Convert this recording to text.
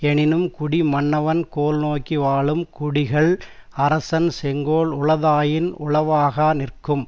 எனினும் குடி மன்னவன் கோல் நோக்கி வாழும் குடிகள் அரசன் செங்கோல் உளதாயின் உளவாகா நிற்கும்